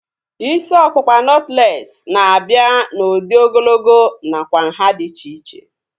Isi ọkpụkpa nọtlees na-abịa n'udi ogologo nakwa nhá dị iche iche